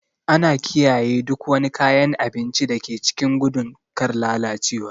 Ana kiyaye duk wani kayan abinci da ke kicin gudun kar lalacewa.